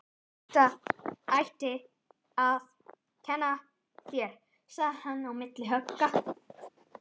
Þetta. ætti. að. kenna. þér. sagði hann milli högga.